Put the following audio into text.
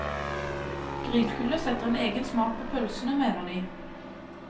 Grillkullet setter en egen smak på pølsene, mener de.